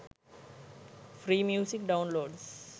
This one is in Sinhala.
free music downloads